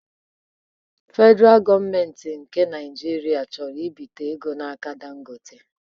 Fedraa gọọmenti ndị Naịjirịa chọrọ ibite ego n'aka Dangote